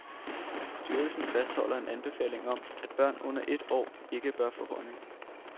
Styrelsen fastholder en anbefaling om, at børn under et år ikke bør få honning.